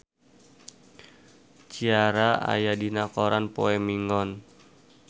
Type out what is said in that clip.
Ciara aya dina koran poe Minggon